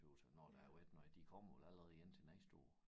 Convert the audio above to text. Tøs jeg når der har været noget de kommer vel allerede igen til næste år